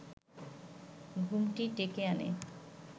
ঘুমটি ডেকে আনে